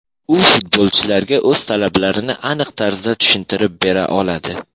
U futbolchilarga o‘z talablarini aniq tarzda tushuntirib bera oladi”.